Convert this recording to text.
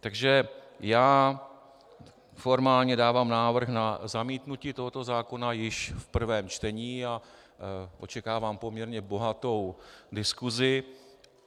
Takže já formálně dávám návrh na zamítnutí tohoto zákona již v prvém čtení a očekávám poměrně bohatou diskusi.